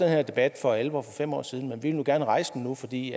her debat for alvor for fem år siden men vi vil gerne rejse den nu fordi